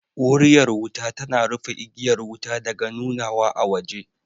Wuriyar wuta tana rufe igiyar wuta daga nunawa a waje